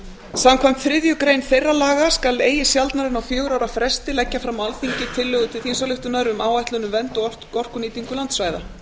samkvæmt þriðju grein þeirra laga skal eigi sjaldnar en á fjögurra ára fresti leggja fram á alþingi tillögu til þingsályktunar um áætlun um vernd og orkunýtingu landsvæða